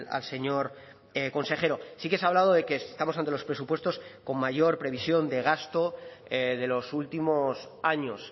al señor consejero sí que se ha hablado de que estamos ante los presupuestos con mayor previsión de gasto de los últimos años